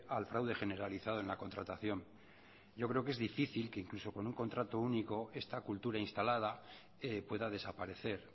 al fraude generalizado en la contratación yo creo que es difícil que incluso con un contrato único esta cultura instalada pueda desaparecer